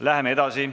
Läheme edasi.